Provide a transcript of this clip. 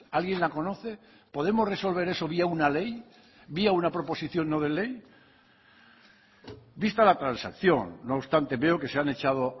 alguien la conoce podemos resolver eso vía una ley vía una proposición no de ley vista la transacción no obstante veo que se han echado